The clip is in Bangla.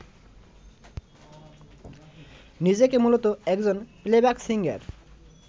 নিজেকে মূলত একজন প্লেব্যাক সিঙ্গার